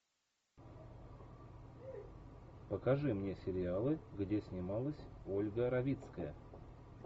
покажи мне сериалы где снималась ольга равицкая